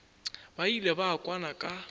ba ile ba kwana ka